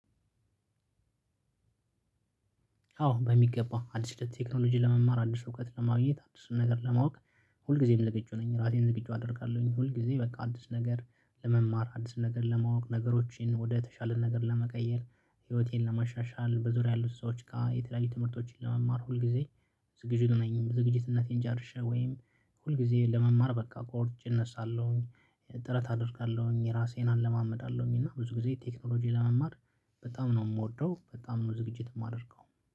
አዎ በሚገባው አዲስ ለቴክኖሎጂ ለመማር አዲስ እውቀት ለማግኘት አዲስን ነገር ለማወቅ ሁል ጊዜም ዝግጁ ነኝ። ራሴን ዝግጁ አደርጋለሁኝ ሁል ጊዜ በቃ አዲስ ነገር ለመማር አዲስ ነገር ለማወቅ ነገሮችን ወደ ተሻለ ነገር ለመቀየር ህይወቴን ለማሻሻል በዙሪያ ያሉት ሰዎች ጋር የተለያዩ ትምህርቶችን ለመማር ሁልጊዜ ዝግጅት ነኝ። ዝግጅትነቴን ጨርሸ ወይም ሁልጊዜ ለመማር በቃ ቆርጬ እነሳለሁኝ። ጥረት አደርጋለሁኝ ራሴን አለማምዳለሁኝ እና ብዙ ጊዜ ቴክኖሎጂ ለመማር። በጣም ነው የምወደው በጣም ነው ዝግጅት የማደርገው።